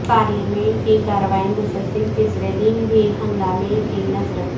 parliament کی کارروائی مسلسل تیسرے دن بھی ہنگامہ کی نذر